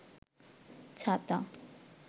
ছাতা